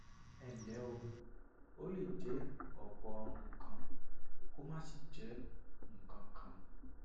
ẹ ǹlẹ o ó lè jẹ ọpọ nǹkan kó má sì jẹ nǹkan kan